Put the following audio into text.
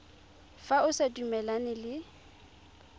fa o sa dumalane le